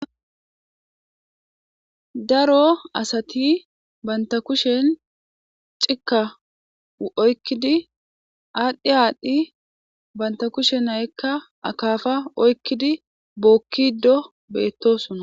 daro asati banta kushen cika oykkidi aadhdhi aadhdhi banta kushen ayykka akafa oykkidi bookkido beettosona